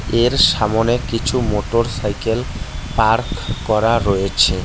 এর সামোনে কিছু মোটর সাইকেল পার্ক করা রয়েছে।